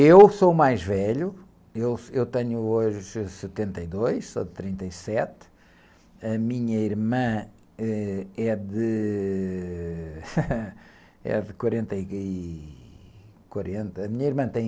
Eu sou o mais velho, eu, eu tenho hoje setenta e dois, sou de trinta e sete, a minha irmã, ãh, é de quarenta e... De quarenta, a minha irmã tem...